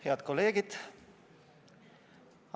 Head kolleegid!